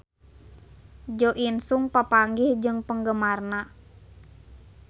Jo In Sung papanggih jeung penggemarna